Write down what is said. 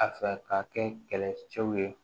A fɛ ka kɛ kɛlɛcɛw ye